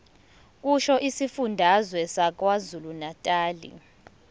kusho isifundazwe sakwazulunatali